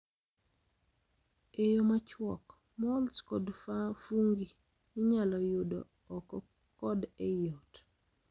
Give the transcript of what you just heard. e yo machuok: Mols kod fungi inyalo yudo oko kod ei ot.